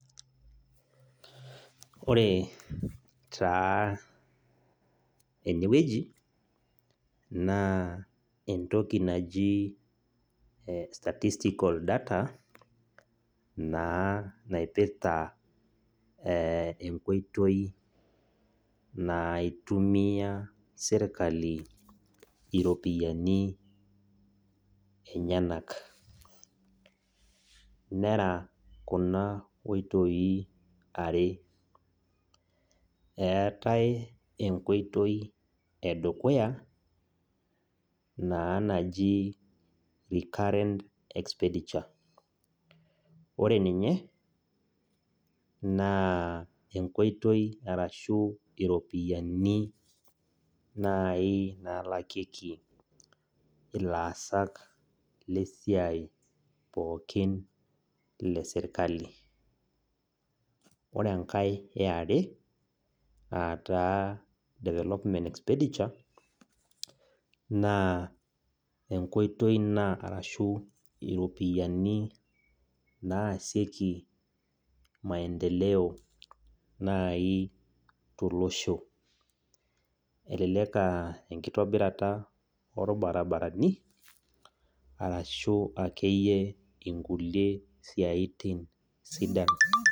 Ore taa enewueji naa entoki naji statistical data naa naipirta naa enkoitoi naitumia sirkali iropiyiani enyenak , nera kuna oitoi are .Eeetae enkoitoi edukuya naa naji recurrent expenditure, ore ninye naa enkoitoi ashu iropiyiani nai nalakieki ilaasak pookin lesiai esirkali. Ore enkae eare aataa development expenditure naa enkoitoi ina arashu iropiyiani naasieki nai maendeleo tolosho , elelek aa enkitobirata orbabarani arashu akeyie inkulie siatin sidan.